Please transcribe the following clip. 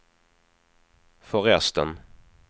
förresten